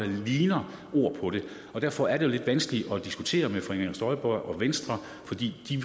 ligner ord på det og derfor er det jo lidt vanskeligt at diskutere med fru inger støjberg og venstre for de